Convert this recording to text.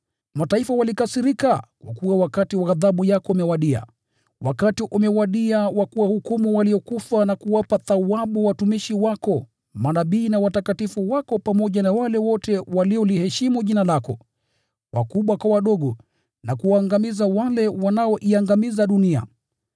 Mataifa walikasirika nao wakati wa ghadhabu yako umewadia. Wakati umewadia wa kuwahukumu waliokufa na kuwapa thawabu watumishi wako manabii na watakatifu wako pamoja na wale wote wanaoliheshimu Jina lako, wakubwa kwa wadogo: na kuwaangamiza wale wanaoiangamiza dunia.”